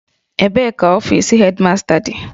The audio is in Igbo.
Ebee ka ọfis Hedmasta dị?